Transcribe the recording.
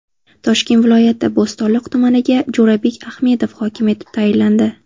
Toshkent viloyati Bo‘stonliq tumaniga Jo‘rabek Ahmedov hokim etib tayinlandi.